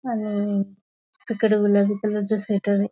आणि तिकडे गुलाबी कलर चा स्वेटर ये.